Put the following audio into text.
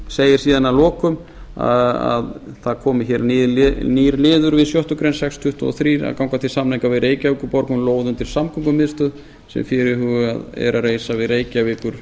segir síðan að lokum að það komi hér nýr liður við sjöttu grein sex hundruð tuttugu og þrjú að ganga til samninga við reykjavíkurborg um lóð undir samgöngumiðstöð sem fyrirhugað er að reisa